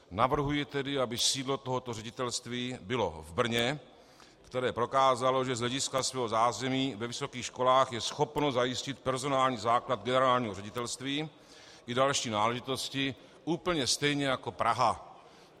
Navrhuji tedy, aby sídlo tohoto ředitelství bylo v Brně, které prokázalo, že z hlediska svého zázemí ve vysokých školách je schopno zajistit personální základ generálního ředitelství i další náležitosti úplně stejně jako Praha.